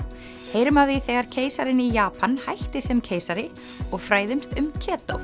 heyrum af því þegar keisarinn í Japan hætti sem keisari og fræðumst um